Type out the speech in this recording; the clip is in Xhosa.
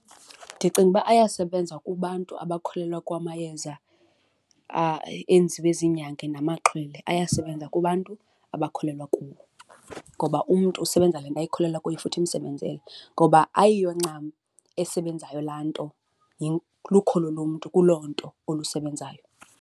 Ndicinga uba ayasebenza kubantu abakholelwa kwamayeza enziwe zinyanga namaxhwele, ayasebenza kubantu abakholelwa kuwo. Ngoba umntu usebenza ngento akholelwa kuyo futhi imsebenzele ngoba ayiyo ncam esebenzayo laa nto, lukholo lomntu kuloo nto olusebenzayo.